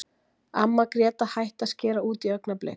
Amma Gréta hætti að skera út í augnablik.